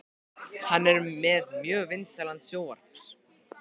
Hann er með mjög vinsælan sjónvarps